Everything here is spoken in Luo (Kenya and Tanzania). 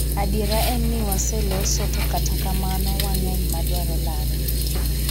Adiera en ni waseloso to kata kamano wang'eny madwaro lare